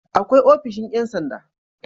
Akwai ofishin Yan sanda